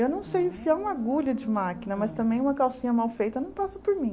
Eu não sei enfiar uma agulha de máquina, mas também uma calcinha mal feita não passa por mim.